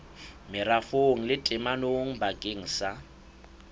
merafong le temong bakeng sa